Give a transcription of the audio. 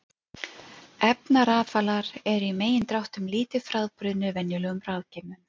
Efnarafalar eru í megindráttum lítið frábrugðnir venjulegum rafgeymum.